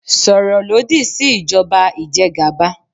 Sọ̀rọ̀ lòdì sí ìjọba ìjẹgàba